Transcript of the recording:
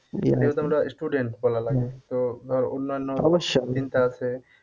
যেহেতু আমরা student লাগে তো ধর অন্যান্য চিন্তা আছে।